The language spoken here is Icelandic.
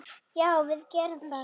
Já, við gerum það.